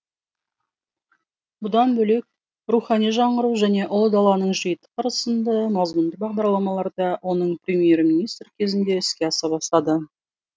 бұдан бөлек рухани жаңғыру және ұлы даланың жеті қыры сынды мазмұнды бағдарламаларда оның премьер министр кезінде іске аса бастады